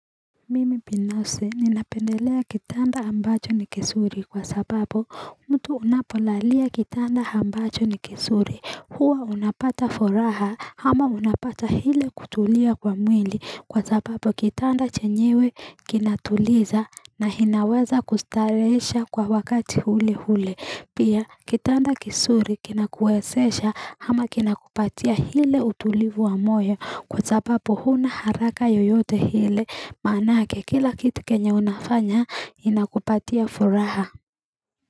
Mimi binafsi ninapendelea kitanda ambacho ni kizuri kwa sababu mtu unapolalia kitanda ambacho ni kizuri huwa unapata furaha ama unapata ile kutulia kwa mwili kwa sababu kitanda chenyewe kinatuliza na kinaweza kustarehesha kwa wakati ule ule Pia kitanda kizuri kinakuwezesha ama kinakupatia ile utulivu wa moyo kwa sababu huna haraka yoyote ile manake kila kitu kenye unafanya inakupatia furaha.